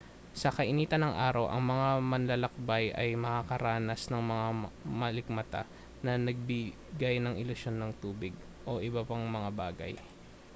sa kainitan ng araw ang mga manlalakbay ay makararanas ng mga malikmata na nagbigay ng ilusyon ng tubig o iba pang mga bagay